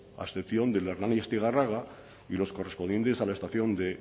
a excepción del hernani astigarraga y los correspondientes a la estación de